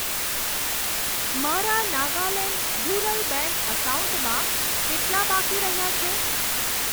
મારા Nagaland rural bank એકાઉન્ટમાં કેટલા બાકી રહ્યા છે?